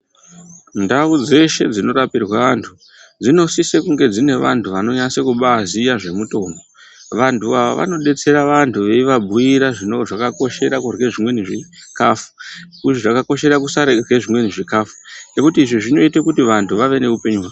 Ndau dzeshe dzinorapirwa vantu dzinosisa kunge dzine vantu vanoziya zvemutombo vantu ava vanodetsera vantu veivabuira zvakakoshera kurya zvimweni zvikafu zvakakoshera kusarya zvimweni zvikafu izvi zvinoita kuti vantu vave neupenyu.